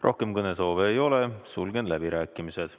Rohkem kõnesoove ei ole, sulgen läbirääkimised.